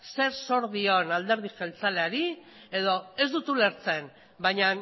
zer zor dion alderdi jeltzaleari edo ez dut ulertzen baina